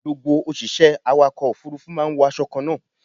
Gbogbo òṣìṣẹ́ awàkọ̀ òfúrúfú máa ń wo aṣọ kan náà.